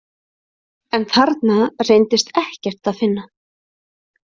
En þarna reyndist ekkert að finna.